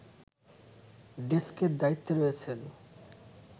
ডেস্কের দায়িত্বে রয়েছেন